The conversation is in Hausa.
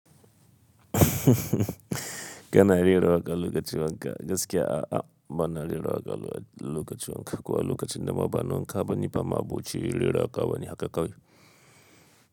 Kana rera waka lokacin wanka, gaskiya a, a bana rera waka lokacin wanka. Ko a lokacin da ma ba na wanka bane, ni ba ma'aboci rera waka ba ne haka kawai.